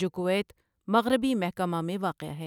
جو کؤیت مغربی محکمہ میں واقع ہے